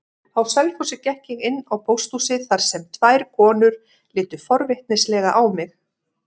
Á Selfossi gekk ég inn á pósthúsið þar sem tvær konur litu forvitnislega á mig.